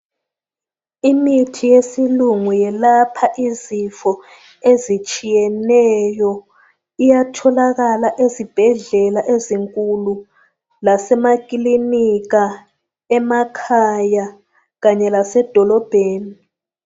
Imithi yesilungu yelapha izifo ezitshiyeneyo, iyatholakala ezibhedlela ezinkulu, lasemakilinika, emakhaya Kanye lase dolobheni